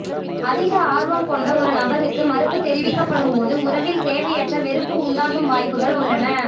அதிக ஆர்வம் கொண்ட ஒரு நபருக்கு மறுப்புத் தெரிவிக்கப்படும் போது உறவில் தேவையற்ற வெறுப்பு உண்டாகும் வாய்ப்புகள் உள்ளன